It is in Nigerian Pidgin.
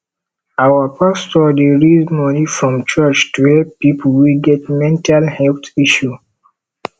our pastor dey raise moni from church to help pipo wey get mental health issue